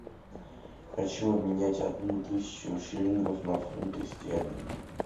хочу обменять одну тысячу шиллингов на фунты стерлинги